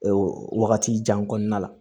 Ee wagati jan kɔnɔna la